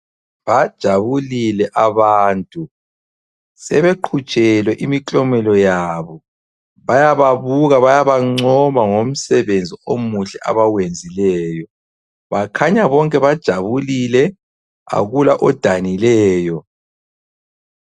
Bajabulile abantu, sebeqhutshelwe imiklomela yabo. Bayababuka, bayabangcoma ngomsebenzi omuhle abawenzileyo. Bakhanya bonke bajabulile akula odanileyo.